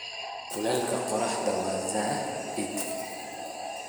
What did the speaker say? Kuleyka koraxta wa zaid .